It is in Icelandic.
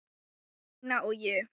Steina og ég.